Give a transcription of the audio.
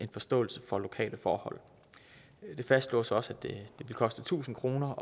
forståelse for lokale forhold det fastslås også at det koster tusind kroner